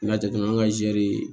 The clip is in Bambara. N y'a jateminɛ an ka zɛri